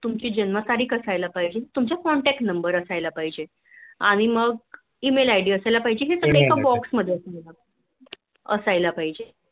तुमची जन्म तारीख असायला पाहिजे तुमचा Contact number असायला पाहिजे. आणि मग EMAILID असायला पाहीजे ती make up box मध्ये असायला पाहिजे